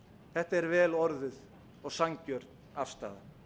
þetta er vel orðuð og sanngjörn afstaða